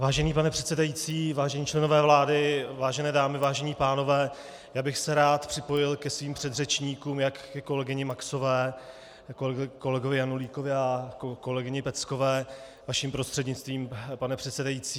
Vážený pane předsedající, vážení členové vlády, vážené dámy, vážení pánové, já bych se rád připojil ke svým předřečníkům, jak ke kolegyni Maxové, kolegovi Janulíkovi a kolegyni Peckové, vaším prostřednictvím, pane předsedající.